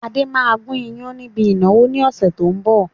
Adé máa gun ìyàn níbi ìnáwó ni ọ̀sẹ̀ tó ń bọ̀.